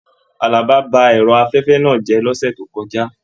Àlàbá bá ẹrọ afẹfẹ náà jẹ lọ́sẹ̀ tó kọjá.